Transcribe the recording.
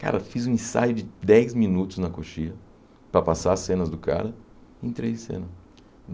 Cara, fiz um ensaio de dez minutos na coxia para passar as cenas do cara entrei em cena.